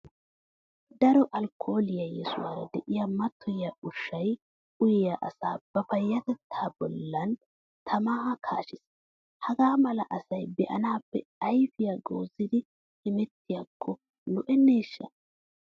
Daro Alkkooliya yesuwara de'iya mattoyiya ushshaa uyiya asay ba payyatettaa bollan tamaa kaashees. Hagaa mala asa be'anaappe ayfiya goozidi hemettiyakko lo"enneeshsha!